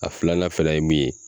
A filanan fɛnɛ ye min ye